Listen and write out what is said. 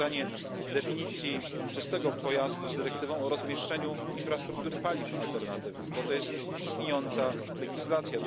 Powiązanie definicji czystego pojazdu z dyrektywą o rozmieszczeniu infrastruktury paliw alternatywnych, bo to jest istniejąca legislacja.